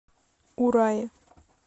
урае